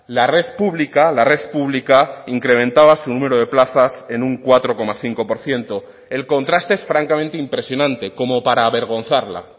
la red pública la red pública incrementaba su número de plazas en un cuatro coma cinco por ciento el contraste es francamente impresionante como para avergonzarla